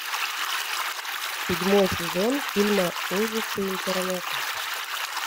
седьмой сезон фильма ужасы интернета